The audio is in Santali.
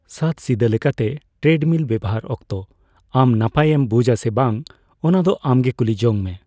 ᱥᱟᱫᱥᱤᱫᱟᱹ ᱞᱮᱠᱟᱛᱮ ᱴᱮᱨᱮᱰᱢᱤᱞ ᱵᱮᱣᱦᱟᱨ ᱚᱠᱛᱚ ᱟᱢ ᱱᱟᱯᱟᱭ ᱮᱢ ᱵᱩᱡᱷᱼᱟ ᱥᱮ ᱵᱟᱝ ᱚᱱᱟ ᱫᱚ ᱟᱢ ᱜᱮ ᱠᱩᱞᱤ ᱡᱚᱝᱢᱮ ᱾